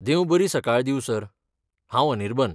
देव बरी सकाळ दींव सर, हांव अनिर्बन.